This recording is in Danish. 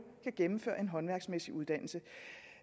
kan gennemføre en håndværksmæssig uddannelse